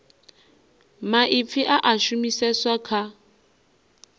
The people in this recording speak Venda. maipfi a a shumiseswa kha